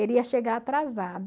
Ele ia chegar atrasado.